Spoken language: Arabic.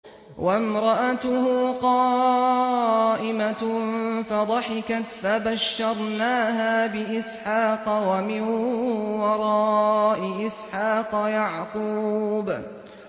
وَامْرَأَتُهُ قَائِمَةٌ فَضَحِكَتْ فَبَشَّرْنَاهَا بِإِسْحَاقَ وَمِن وَرَاءِ إِسْحَاقَ يَعْقُوبَ